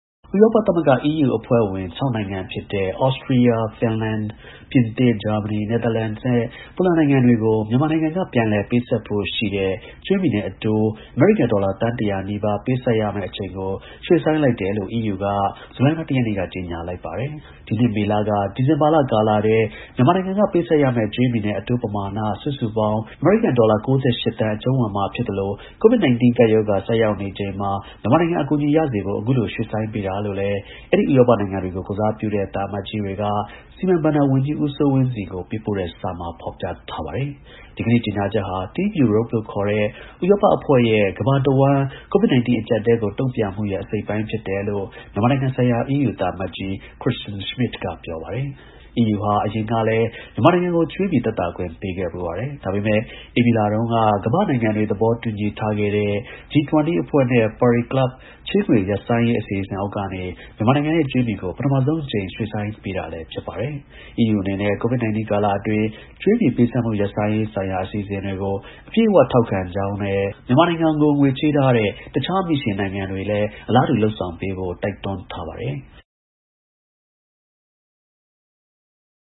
ဥရောပ သမဂ္ဂ EU အဖွဲ့ဝင် ၆ နိုင်ငံ ဖြစ်တဲ့ ဩစတြီးယား၊ ဖင်လန်၊ ပြင်သစ်၊ ဂျာမနီ၊ နယ်သာလန်နဲ့ ပိုလန် နိုင်ငံတွေကို မြန်မာနိုင်ငံ က ပြန်လည် ပေးဆပ်ဖို့ ရှိတဲ့ ကြွေးမြီနဲ့ အတိုး အမေရိကန် ဒေါ်လာသန်း တရာနီးပါး ပေးဆပ်ရမယ့် အချိန်ကို ရွှေ့ဆိုင်းပေးလိုက်တယ်လို့ EU က ဇူလိုင်လ ၁ ရက်နေ့က ကြေညာလိုက်ပါတယ်။ ဒီနှစ် မေလက ဒီဇင်ဘာလကာလထဲ မြန်မာနိုင်ငံက ပေးဆပ်ရမယ့် ကြွေးမြီနဲ့ အတိုး ပမာဏ စုစုပေါင်း အမေရိကန် ဒေါ်လာ ၉၈ သန်း အကြုံးဝင်မှာ ဖြစ်ပြီး COVID-19 ကပ်ရောဂါ ဆိုက်ရောက်နေချိန်မှာ မြန်မာနိုင်ငံ အကူ အညီရစေဖို့ အခုလို ရွှေ့ဆိုင်းပေးတာလို့လည်း အဲဒီ ဥရောပနိုင်ငံတွေကို ကိုယ်စားပြုတဲ့ သံအမတ်ကြီးတွေက စီမံ ဘဏ္ဍာဝန်ကြီး ဦးစိုးဝင်းဆီကို ပေးပို့တဲ့စာမှာ ဖော်ပြထားပါတယ်။ ဒီကနေ့ ကြေညာချက်ဟာ Team Europe လို့ခေါ်တဲ့ ဥရောပအဖွဲ့ရဲ့ ကမ္ဘာတစ်ဝှမ်း COVID-19 အကျပ်အတည်းကို တုံ့ပြန့်မှုရဲ့ အစိတ်အပိုင်း ဖြစ်တယ်လို့ မြန်မာနိုင်ငံ ဆိုင်ရာ EU သံအမတ်ကြီး Kristian Schmidt က ပြောပါတယ်။ EU ဟာ အရင်ကလည်း မြန်မာနိုင်ငံကို ကြွေးမြီ သက်သာခွင့် ပေးခဲ့ဖူးပါတယ်။ ဒါပေမဲ့ ဧပြီလတုန်းက ကမ္ဘာ့နိုင်ငံတွေ သဘောတူ ထားခဲ့တဲ့ G20 အဖွဲ့နဲ့ ပါရီ ကလပ် ချေးငွေ ရပ်ဆိုင်းရေး အစီအစဉ်အောက်ကနေ မြန်မာနိုင်ငံရဲ့ ကြွေးမြီကို ပထမဆုံးအကြိမ် ရွှေ့ဆိုင်း ပေးတာလည်း ဖြစ်ပါတယ်။ EU အနေနဲ့ COVID-19 ကာလအတွင်း ကြွေးမြီ ပေးဆပ်မှု ရပ်ဆိုင်းရေးဆိုင်ရာ အစီအစဉ်တွေကို အပြည့်အဝ ထောက်ခံကြောင်းနဲ့ မြန်မာနိုင်ငံအပေါ် ငွေချေးထားတဲ့ တခြား မြီရှင်နိုင်ငံတွေနဲ့ အဖွဲ့အစည်းတွေကလည်း အလားတူ လုပ်ဆောင်ပေးဖို့ တိုက်တွန်းထား ပါတယ်။